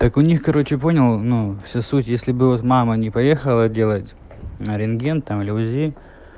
так у них короче понял ну все суть если бы вас мама не поехала делать рентген там ли узи